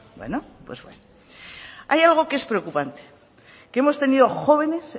bueno hay algo que es preocupante que hemos tenido jóvenes